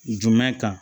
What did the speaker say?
Jumɛn kan